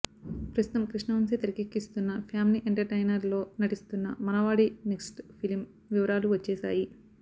ప్రస్తుతం కృష్ణ వంశీ తెరకెక్కిస్తున్న family entertainer లో నటిస్తున్న మనవాడి నెక్స్ట్ ఫిలిం వివరాలు వచ్చేసాయి